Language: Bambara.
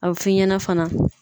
A bɛ f'i ɲɛna fana